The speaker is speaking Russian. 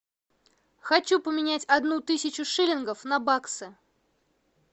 хочу поменять одну тысячу шиллингов на баксы